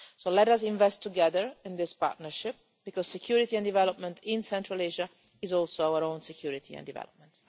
So let us invest together in this partnership because security and development in Central Asia is also our own security and development.